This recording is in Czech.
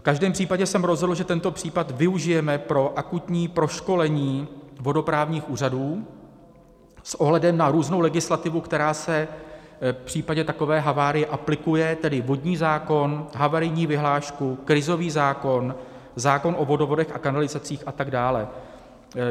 V každém případě jsem rozhodl, že tento případ využijeme pro akutní proškolení vodoprávního úřadu s ohledem na různou legislativu, která se v případě takové havárie aplikuje, tedy vodní zákon, havarijní vyhlášku, krizový zákon, zákon o vodovodech a kanalizacích atd.